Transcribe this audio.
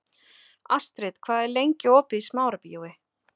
Astrid, hvað er lengi opið í Smárabíói?